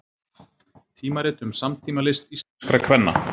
Tímarit um samtímalist íslenskra kvenna